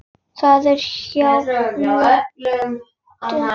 Það er hjá fljóti.